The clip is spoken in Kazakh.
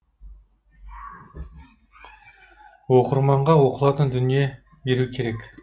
оқырманға оқылатын дүние беру керек